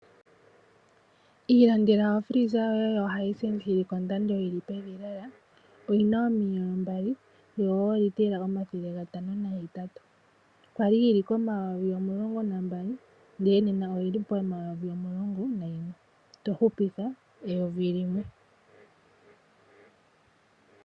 Ilandela ofreeza yoye yoHisense yili kondando yili pevi lela oyina omiyelo mbali yoolitela omathele gatano nahetatu. Kwali yili komayovi omulongo nambali ndele nena oyili pomayovi omulongo nayimwe, tohupitha eyovi limwe.